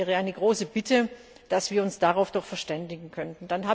Das wäre eine große Bitte, dass wir uns darauf doch verständigen könnten.